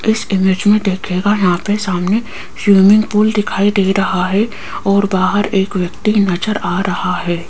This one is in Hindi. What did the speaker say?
इस इमेज में देखिएगा यहाँ पे सामने स्विमिंग पूल दिखाई दे रहा है और बाहर एक व्यक्ति नजर आ रहा है।